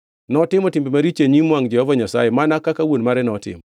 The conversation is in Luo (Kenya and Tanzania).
Notimo timbe maricho e nyim wangʼ Jehova Nyasaye, mana kaka wuon mare notimo.